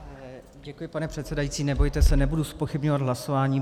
Děkuji, pane předsedající, nebojte se, nebudu zpochybňovat hlasování.